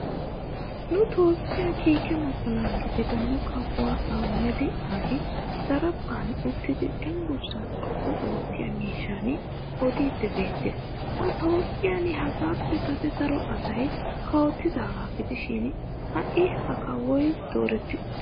Nu toophphiya kiike mocona gidida nu kawuwaa ahimeda aabi daraphphan uttidi cenggurssaa xoqqu oottiya mishshan odiiddi beettes. Nu toophphiyan hagaappe Kase daro asay. kawotidaagaa gidishin ha'i ha kawoy dooretti uttis